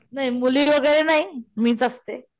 नाही मुली वैगेरे नाही मीच असते.